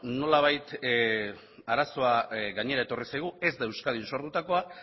nolabait arazoa gainera etorri zaigu ez da euskadin sortutakoa